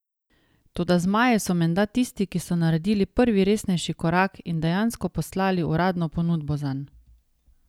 Toda zmaji so menda tisti, ki so naredili prvi resnejši korak in dejansko poslali uradno ponudbo zanj.